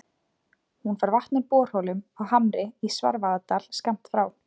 Hún fær vatn úr borholum á Hamri í Svarfaðardal, skammt frá